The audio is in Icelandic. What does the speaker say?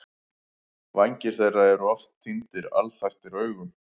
Vængir þeirra eru oft sýndir alþaktir augum.